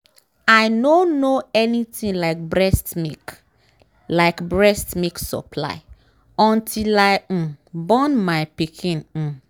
i nor know anything like breast milk like breast milk supply until i um born my pikin um